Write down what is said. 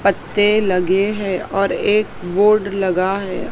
पत्ते लगे हैं और एक बोर्ड लगा हैं।